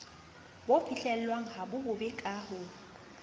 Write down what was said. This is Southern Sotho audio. bo fihlellwang habobebe ka ho